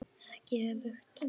Ekki öfugt.